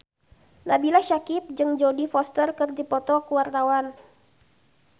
Nabila Syakieb jeung Jodie Foster keur dipoto ku wartawan